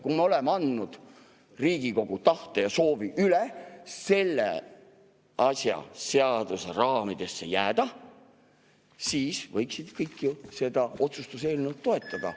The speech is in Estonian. Kui me oleme üle andnud Riigikogu tahte ja soovi selle asjaga seaduse raamidesse jääda, siis võiksid kõik ju seda otsuse eelnõu toetada.